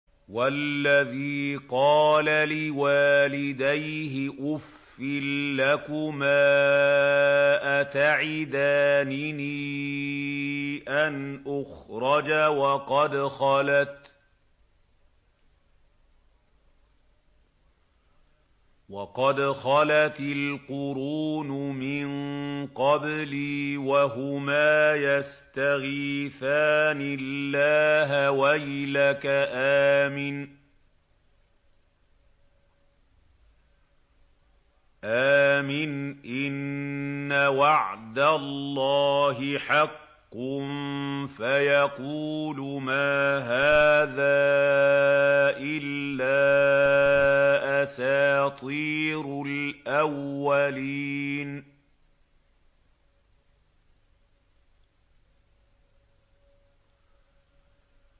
وَالَّذِي قَالَ لِوَالِدَيْهِ أُفٍّ لَّكُمَا أَتَعِدَانِنِي أَنْ أُخْرَجَ وَقَدْ خَلَتِ الْقُرُونُ مِن قَبْلِي وَهُمَا يَسْتَغِيثَانِ اللَّهَ وَيْلَكَ آمِنْ إِنَّ وَعْدَ اللَّهِ حَقٌّ فَيَقُولُ مَا هَٰذَا إِلَّا أَسَاطِيرُ الْأَوَّلِينَ